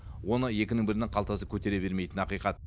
оны екінің бірінің қалтасы көтере алмайтыны ақиқат